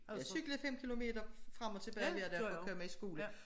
Jeg cyklede 5 kilometer frem og tilbage hver dag for at komme i skole